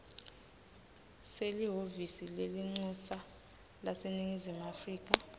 selihhovisi lelincusa laseningizimu